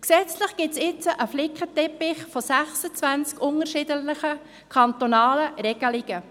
Gesetzlich gibt es jetzt einen Flickenteppich von 26 unterschiedlichen kantonalen Regelungen.